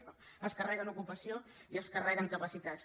i això es carreguen ocupació i es carreguen capacitats